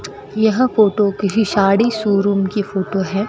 यह फोटो किसी साड़ी शोरूम की फोटो है।